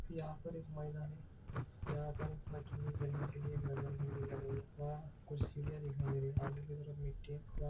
यहा पर एक महिला है यहा पर एक बच्चों को खेलने के लिए एक घसरगुंडी लगाई है। वहा कुछ सिडिया दिखाई दे रही है आगे की तरफ मिट्ठी है वहा --